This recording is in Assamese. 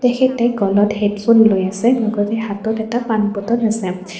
তেখেতে গলত হেডফোন লৈ আছে লগতে হাতত এটা পানীৰ বটল আছে।